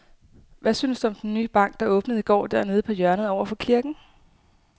Hvad synes du om den nye bank, der åbnede i går dernede på hjørnet over for kirken?